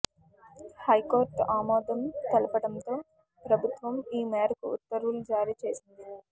high court ఆమోదం తెలపటంతో ప్రభుత్వం ఈ మేరకు ఉత్తర్వులు జారీ చేసింది